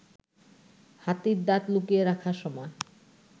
হাতির দাঁত লুকিয়ে রাখার সময়